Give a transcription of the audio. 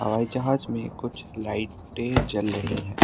हवाई जहाज में कुछ लाइटें जल रही है।